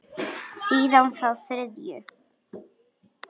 Síðan þá þriðju.